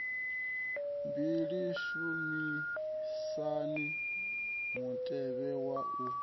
mbili shumisani mutevhe wa u